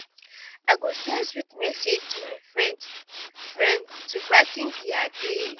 i go send sweet message to my friend friend to brigh ten dia day.